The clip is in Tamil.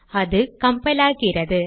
அது கம்பைலாகிறது